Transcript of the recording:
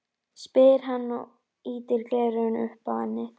spyr hann og ýtir gleraugunum upp á ennið.